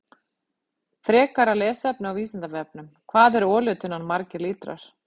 Frekara lesefni á Vísindavefnum: Hvað er olíutunnan margir lítrar?